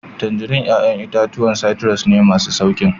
Tangerines 'ya'yan itatuwa citrus ne, masu sauƙin